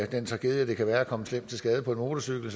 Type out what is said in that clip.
den tragedie at det kan være at komme slemt til skade på en motorcykel